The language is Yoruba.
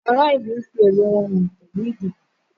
Ará ìlú n fí èrò wọn hàn pẹ́lù ìdìbò